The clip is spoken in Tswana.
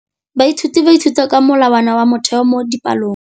Baithuti ba ithuta ka molawana wa motheo mo dipalong.